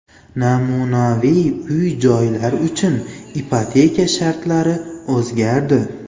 Namunaviy uy-joylar uchun ipoteka shartlari o‘zgardi.